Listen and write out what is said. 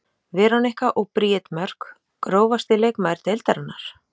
Veronika og Bríet Mörk Grófasti leikmaður deildarinnar?